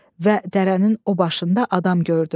Və dərənin o başında adam gördü.